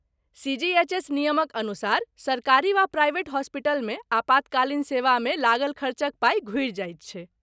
CGHS. नियमक अनुसार, सरकारी वा प्राइवेट हॉस्पिटलमे आपातकालीन सेवामे लागल खर्चक पाइ घूरि जाइत छैक।